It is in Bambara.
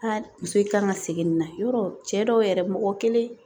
muso in kan ka segin nin na yɔrɔ cɛ dɔw yɛrɛ mɔgɔ kelen